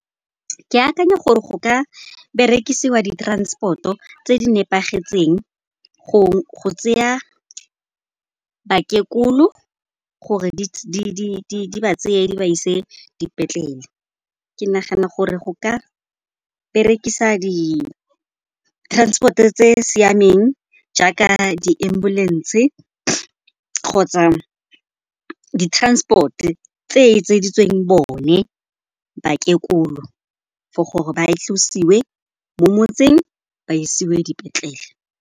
Ke akanya gore go ka berekisiwa di-transport-o tse di nepagetseng go tseya bakekolo gore di ba tseye di ba ise dipetlele. Ke nagana gore go ka berekisa di-transport-e tse siameng jaaka di-ambulance kgotsa di-transport tse etseditsweng bone bakekolo for gore ba tlosiwe mo motseng, ba isiwe dipetlele.